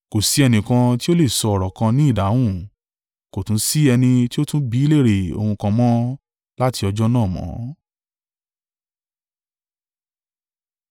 Kò sí ẹnìkan tí ó lè sọ ọ̀rọ̀ kan ni ìdáhùn, kò tún sí ẹni tí ó tún bí i léèrè ohun kan mọ́ láti ọjọ́ náà mọ́.